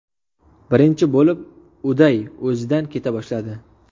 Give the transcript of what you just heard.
Birinchi bo‘lib Uday o‘zidan keta boshladi.